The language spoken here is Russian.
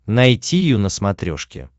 найти ю на смотрешке